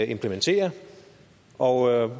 implementerer og